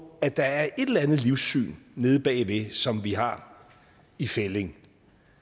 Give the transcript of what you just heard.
at der er et eller andet livssyn nede bagved som vi har i fællig